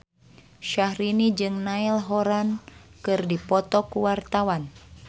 Syaharani jeung Niall Horran keur dipoto ku wartawan